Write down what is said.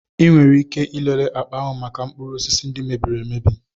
Ị nwere ike ịlele akpa ahụ maka mkpụrụ osisi ndị mebiri emebi.